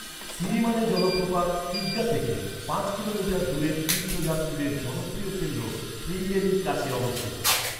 সিরিমানে জলপ্রপাত কিগ্গা থেকে পাঁচ কিলোমিটার দূরে তীর্থযাত্রীদের জনপ্রিয় কেন্দ্র শ্রীঙ্গেরির কাছে অবস্থিত।